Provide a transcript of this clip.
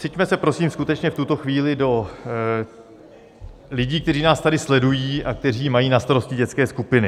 Vciťme se prosím skutečně v tuto chvíli do lidí, kteří nás tady sledují a kteří mají na starosti dětské skupiny.